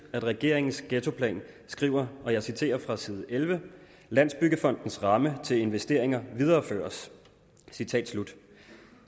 regeringens ghettoplan skriver og jeg citerer fra side 11 landsbyggefondens ramme til investeringer videreføres